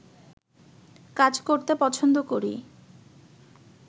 কাজ করতে পছন্দ করি